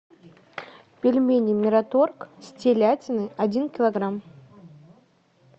пельмени мираторг с телятиной один килограмм